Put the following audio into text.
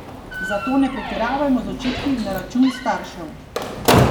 Zato ne pretiravajmo z očitki na račun staršev.